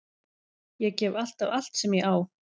Ég gef alltaf allt sem ég á.